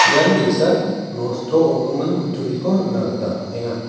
ian ge·sa nosto ong·gimin kutturiko nikna gita man·enga.